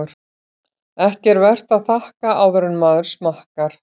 Ekki er vert að þakka áður en maður smakkar.